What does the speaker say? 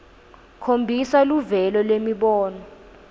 khombisa luvelo lwemibono